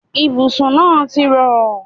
Ibùsùn náà ti rọ̀.